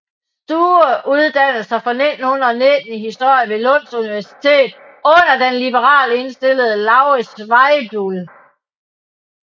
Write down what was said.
Sture uddannede sig fra 1919 i historie ved Lunds universitet under den liberalt indstillede Lauritz Weibull